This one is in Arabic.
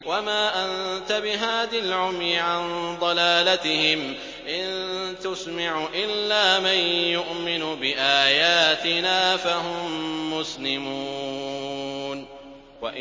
وَمَا أَنتَ بِهَادِي الْعُمْيِ عَن ضَلَالَتِهِمْ ۖ إِن تُسْمِعُ إِلَّا مَن يُؤْمِنُ بِآيَاتِنَا فَهُم مُّسْلِمُونَ